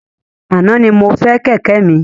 Ana ni mo fọ Kẹ̀kẹ́ mi